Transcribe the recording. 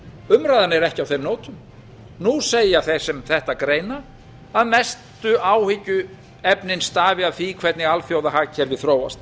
umræðan er ekki á þeim nótum nú segja þeir sem þetta greina að mestu áhyggjuefnin stafi af því hvernig alþjóðahagkerfið þróast